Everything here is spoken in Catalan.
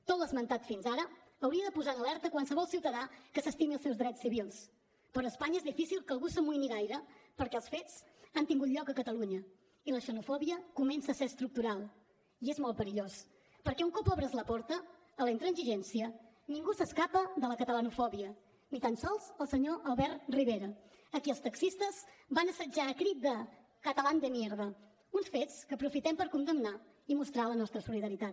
tot l’esmentat fins ara hauria de posar en alerta qualsevol ciutadà que s’estimi els seus drets civils però a espanya és difícil que algú s’amoïni gaire perquè els fets han tingut lloc a catalunya i la xenofòbia comença a ser estructural i és molt perillós perquè un cop obres la porta a la intransigència ningú s’escapa de la catalanofòbia ni tan sols el senyor albert rivera a qui els taxistes van assetjar al crit de catalán de mierda uns fets que aprofitem per condemnar i mostrar la nostra solidaritat